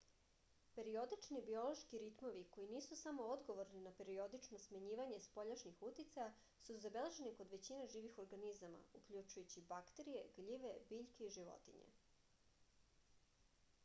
periodični biološki ritmovi koji nisu samo odgovori na periodično smenjivanje spoljašnjih uticaja su zabeleženi kod većine živih organizama uključujući bakterije gljive biljke i životinje